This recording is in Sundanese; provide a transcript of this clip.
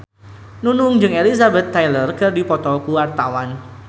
Nunung jeung Elizabeth Taylor keur dipoto ku wartawan